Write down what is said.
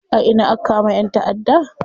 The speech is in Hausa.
A ina aka kama ƴan taʼadda?